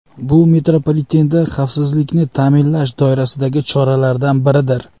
Bu metropolitenda xavfsizlikni ta’minlash doirasidagi choralardan biridir.